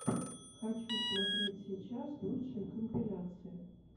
хочу смотреть сейчас лучшие компиляции